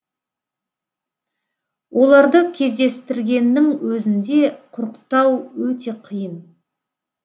оларды кездестіргеннің өзінде құрықтау өте қиын